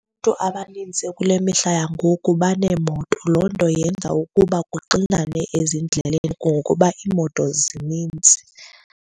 Abantu abanintsi kule mihla yangoku baneemoto. Loo nto yenza ukuba kuxinane ezindleleni kungokuba iimoto zinintsi.